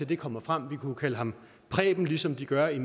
det kommer frem vi kunne kalde ham preben ligesom de gør i